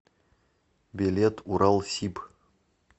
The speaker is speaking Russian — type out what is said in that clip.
билет уралсиб